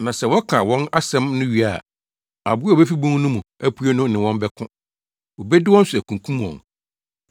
Na sɛ wɔka wɔn asɛm no wie a, aboa a obefi bun no mu apue no ne wɔn bɛko. Obedi wɔn so akunkum wɔn